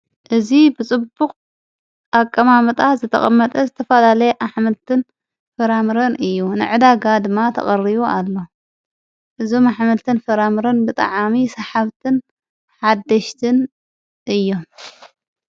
እዚ ብጽቡቕ ኣቀማሙጣ ዘተቐመጠ ዘተፋላለየ ኣኅመልትን ፍራምርን እዩ ነዕዳጋ ድማ ተቐርዩ ኣሎ እዙም ኣኅመልትን ፍራምርን ብጠዓሚ ሰሓብትን ሓደሽትን እዮ::